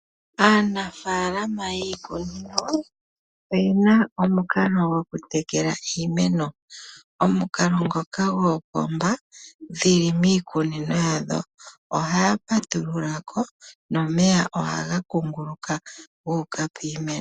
Aanafalama yiikunino oyena omukalo go kutekela iimeno. Omukalo ngoka goopomba dhili miikunino yadho. Ohaya patulula ko, no meya ohaga kunguluka guuka piimeno.